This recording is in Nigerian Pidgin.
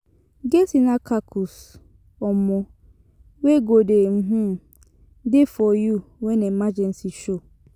Get inner kakus um wey go um de for you when emergency show